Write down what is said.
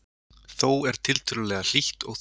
Þó er tiltölulega hlýtt og þurrt